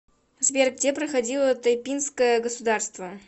сбер где проходило тайпинское государство